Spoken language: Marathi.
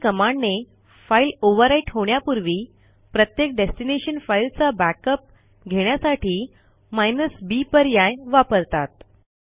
एमव्ही कमांडने फाईल ओव्हरराईट होण्यापूर्वी प्रत्येक डेस्टिनेशन फाईलचा बॅकअप घेण्यासाठी b पर्याय वापरतात